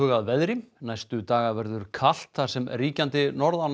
að veðri næstu daga verður kalt þar sem ríkjandi